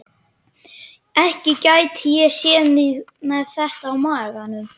Ekki gæti ég séð mig með þetta á maganum.